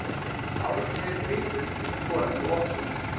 Árni er í liðinu til að skora fyrir okkur.